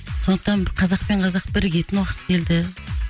сондықтан қазақ пен қазақ бірігетін уақыт келді